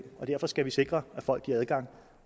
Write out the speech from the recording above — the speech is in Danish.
derfor skal vi sikre at folk har adgang